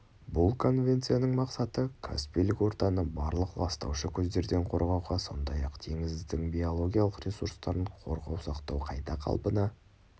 бұл конвенцияның мақсаты каспийлік ортаны барлық ластаушы көздерден қорғауға сондай-ақ теңіздің биологиялық ресурстарын қорғау сақтау қайта қалпына